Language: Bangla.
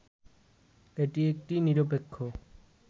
এটি একটি নিরপেক্ষ